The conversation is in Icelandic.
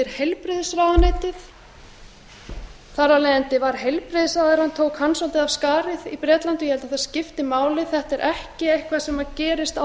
heilbrigðisráðuneytið þar af leiðandi tók heilbrigðisráðherrann svolítið af skarið í bretlandi ég held að það skipti máli þetta er ekki eitthvað sem gerist án þess að stjórnvöld